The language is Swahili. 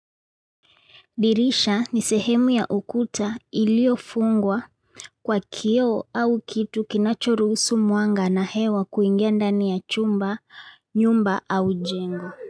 Dirisha ni sehemu ya ukuta ilio fungwa kwa kioo au kitu kinachoruhusu mwanga na hewa kuingia ndani ya chumba, nyumba au jengo.